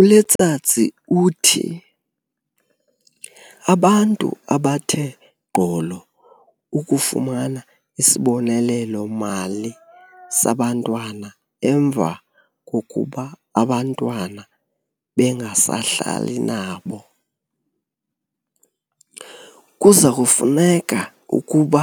ULetsatsi uthi abantu abathe gqolo ukufumana isibonelelo-mali sabantwana emva kokuba abantwana bengasahlali nabo, kuzakufuneka ukuba